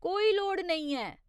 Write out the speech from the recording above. कोई लोड़ नेईं ऐ।